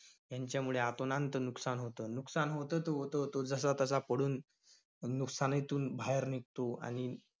ह्यांच्यामुळे आपणांत नुकसान होतं. नुकसान होतं त~ होतं, तो जसातसा पडून नुकसानीतून बाहेर निघतो. आणि